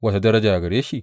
Wace daraja gare shi?